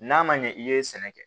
N'a ma ɲɛ i ye sɛnɛ kɛ